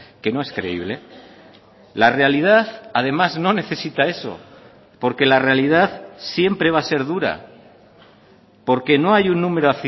que no es creíble la realidad además no necesita eso porque la realidad siempre va a ser dura porque no hay un número